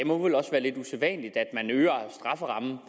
må vel også være lidt usædvanligt at man øger strafferammen